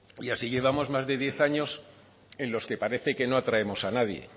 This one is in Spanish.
y así llevamos más de diez años en los que parece que no atraemos a nadie